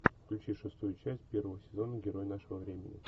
включи шестую часть первого сезона герой нашего времени